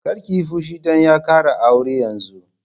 Kar ki yi fushi don ya ƙara aure yanzun!